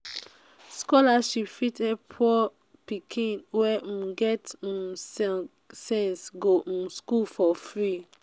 scholarship um fit help poor pikin wey um get um get sense go um school for free